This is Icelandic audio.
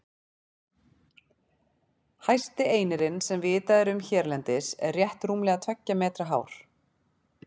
Hæsti einirinn sem vitað er um hérlendis er rétt rúmlega tveggja metra hár.